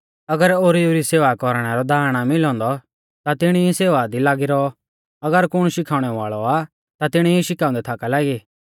अगर ओरीऊ री सेवा कौरणै रौ दाण आ मिलौ औन्दौ ता तिणी ई सेवा दी लागी रौआ अगर कुण शिखाउणै वाल़ौ आ ता तिणी ई शिखाउंदै थाका लागी